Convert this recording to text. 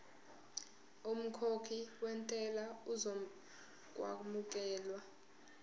umkhokhi wentela uzokwamukelwa